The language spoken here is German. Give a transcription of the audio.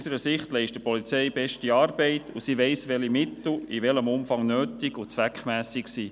Die Polizei leistet beste Arbeit, und sie weiss, welche Mittel in welchem Umfang nötig und zweckmässig sind.